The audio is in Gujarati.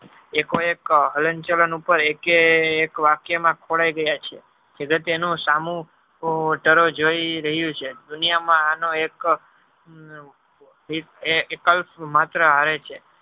એકો એક હલન ચલન ઉપર એકે એકે એક વાક્ય માં ખોરાઈ ગયા છે સૌ જોય રહીયુ છે દુનિયા માં આનો એક~એકલ માત્ર આવે છે